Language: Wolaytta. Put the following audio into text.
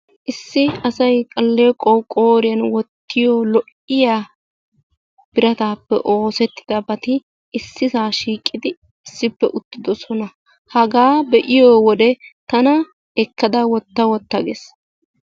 Issi asay aleequwaw qooriyaan wottiyo lo'iyaa biratappe oosettidabati issisa shiiqidi issippe uttidoosona. Haga be'iyoode tana ekkada wotta wotta gees.